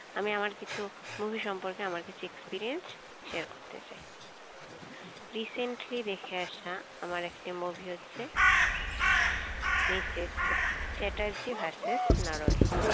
আমি আমার কিছু movie সম্পরকে আমার কিছু experienceshare করতে চাই recently দেখে আসা আমার একটি movie হচ্ছে মিসেস চ্যাটার্জি ভার্সেস নরওয়ে